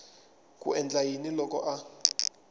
ku endla yini loko a